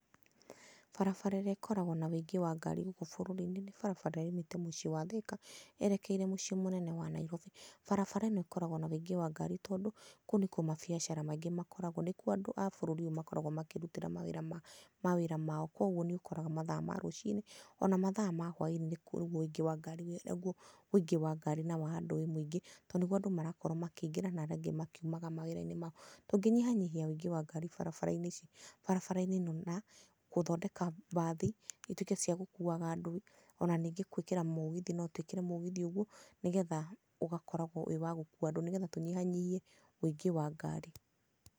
Barabara ĩrĩa ĩkoragwo na ũingĩ wa andũ gũkũ bũrũri-inĩ nĩ barabara ĩrĩa yumĩte mũciĩ wa Thika yerekeire mũciĩ mũnene wa Nairobi. Barabara ĩno ĩkoragwo na ũingĩ wa ngari tondũ kũu nĩkuo mabiacara maingĩ makoragwo. Nĩkuo andũ a bũrũri ũyũ makoragwo makĩrutĩra mawĩra ma mawĩra mao, koguo nĩ ũkoraga mathaa ma rũci-inĩ ona mathaa ma hwai-inĩ nĩkuo ũingĩ wa ngari wĩnaguo, ũingĩ wa ngari na wa andũ wĩ mũingĩ. Tondũ nĩguo andũ marakorwo makĩingĩra nao arĩa angĩ makiuma mawĩra-inĩ mao. Tũngĩnyihanyihia wũingĩ wa ngari barabara-inĩ ici barabara-inĩ ĩno na gũthondeka bathi ituĩke ciagũkuaga andũ. Ona ningĩ gwĩkĩra mũgithi no twĩkĩre mũgithi ũguo, nĩ getha, ũgakoragwo wĩ wa gũkua andũ nĩ getha tũnyihanyihie, wũingĩ wa ngari.